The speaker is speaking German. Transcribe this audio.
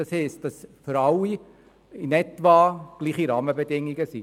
Das heisst, dass für alle in etwa die gleichen Rahmenbedingungen gelten.